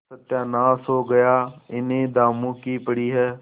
सत्यानाश हो गया इन्हें दामों की पड़ी है